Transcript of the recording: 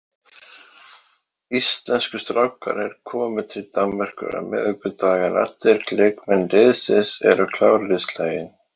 Íslensku strákarnir komu til Danmerkur á miðvikudag en allir leikmenn liðsins eru klárir í slaginn.